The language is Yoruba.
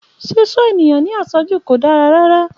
Ṣíṣọ́ ènìyàn ní àṣọ́jù kò dára rárá